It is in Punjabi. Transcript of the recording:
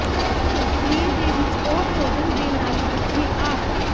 ਸਰੀਰ ਦੇ ਵਿਚ ਉਹ ਭੋਜਨ ਦੇ ਨਾਲ ਇਕੱਠੇ ਆ